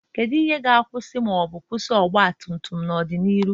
Kedu ihe ga-akwụsị ma ọ bụ kwụsị ọgba tum tum n'ọdịnihu?